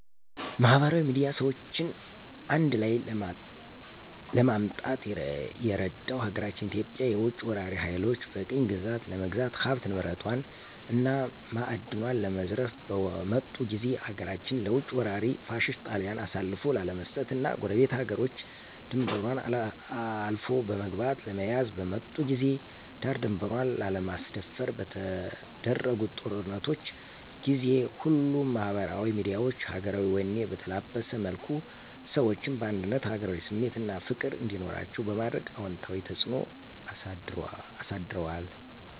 ማህበራዊ ሚድያ ሰዎችን አንድላይ ለማምጣት የረዳው ሀገራችን ኢትዮጵያን የውጭ ወራሪ ሀይሎች በቅኝ ግዛት ለመግዛት ሀብት ንብረቷን እና ማእድኗን ለመዝረፍ በመጡ ጊዜ ሀገራችንን ለውጭ ወራሪ ፋሽስት ጣሊያን አሳልፎ ላለመስጠት እና ጎረቤት ሀገሮች ድንበሯን አልፎ በመግባት ለመያዝ በመጡ ጊዜ ዳር ድንበሯን ላለማስደፈር በተደረጉ ጦርነቶች ጊዜ ሁሉም ማህበራዊ ሚዲያዎች ሀገራዊ ወኔ በተላበሰ መልኩ ሰዎችን በአንድነት ሀገራዊ ስሜት አና ፍቅር እንዲኖራቸዉ በማድረግ አወንታዊ ተጽእኖ አሳድረዋል።